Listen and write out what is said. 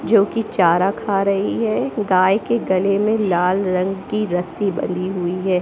जो कि चारा खा रही है गाय के गले में लाल रंग की रस्सी बंधी हुई है।